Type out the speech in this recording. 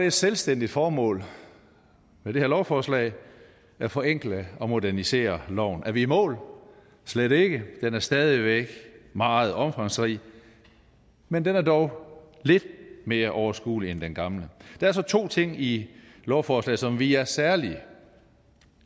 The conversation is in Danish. et selvstændigt formål med det her lovforslag at forenkle og modernisere loven er vi i mål slet ikke den er stadig væk meget omfangsrig men den er dog lidt mere overskuelig end den gamle der er så to ting i lovforslaget som vi er særlig